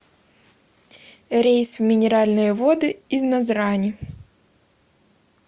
рейс в минеральные воды из назрани